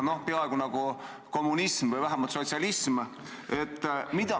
Noh, see on peaaegu nagu kommunism või vähemalt sotsialism.